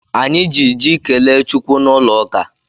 Anyị ji ji kelee Chukwu n'ụlọ ụka.